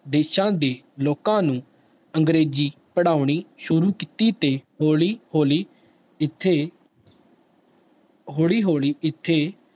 ਦੇਸਾਂ ਦੇ ਲੋਕਾਂ ਨੂੰ ਅੰਗਰੇਜ਼ੀ ਪੜ੍ਹਾਉਣੀ ਸ਼ੁਰੂ ਕੀਤੀ ਤੇ ਹੌਲੀ ਹੌਲੀ ਇੱਥੇ ਹੌਲੀ ਹੌਲੀ ਇੱਥੇ